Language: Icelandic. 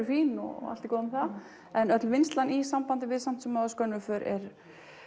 fín og allt það en öll vinnslan í sambandi við samt sem áður skönnuð för er